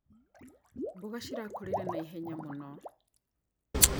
Mboga cirakũrire na ihenya mũno.